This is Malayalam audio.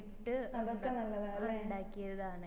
ഇട്ട് ഇണ്ടാക്കിയതാണ്